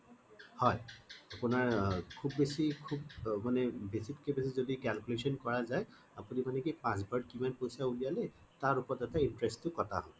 হয় আপোনাৰ খুব বেছি খুব মানে বেছিত কে বেছি যদি calculation কৰা যায় আপুনি মানে কি পাঁচ বাৰত কিমান পইছা উলিয়ালে তাৰ ওপৰতে interest টো কটা হব